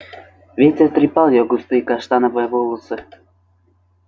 ветер трепал её густые каштановые волосы